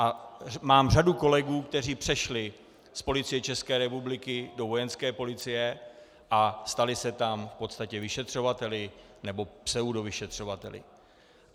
A mám řadu kolegů, kteří přešli z Policie České republiky do Vojenské policie a stali se tam v podstatě vyšetřovateli, nebo pseudovyšetřovateli.